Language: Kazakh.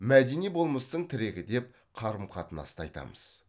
мәдени болмыстың тірегі деп қарым қатынасты айтамыз